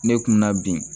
Ne kun bɛ na bi